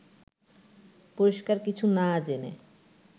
পরিষ্কার কিছু না জেনে